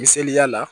Misaliya la